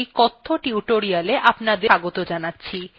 আমি ubuntu ১০ ০৪ ব্যবহার করছি